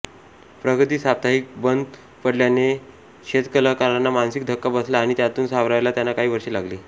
प्रगती साप्ताहिक बंद पडल्याने शेजवलकरांना मानसिक धक्का बसला आणि त्यातून सावरायला त्यांना काही वर्षे लागली